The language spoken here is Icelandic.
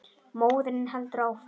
Móðirin heldur áfram.